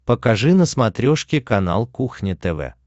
покажи на смотрешке канал кухня тв